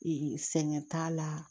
sɛgɛn t'a la